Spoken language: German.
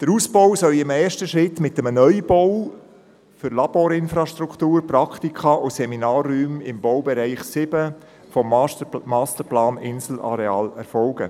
Der Ausbau soll in einem ersten Schritt mit einem Neubau für Laborinfrastruktur, Praktika und Seminarräume im Baubereich 07 des «Masterplans Inselareal» erfolgen.